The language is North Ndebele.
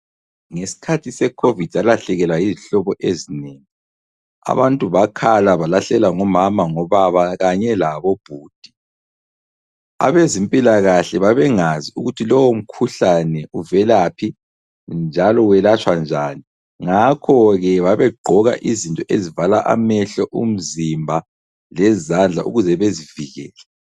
Ngesikhathi seCovid salahlekelwa yizihlobo ezinengi. Abantu bakhala balahlekelwa ngomama, ngobaba kanye labobhudi. Abezempilakahle babengazi ukuthi lowomkhuhlane uvelaphi njalo welatshwa njani ngakho-ke babegqoka izinto ezivala amehlo umzimba lezandla ukuze bezivikele.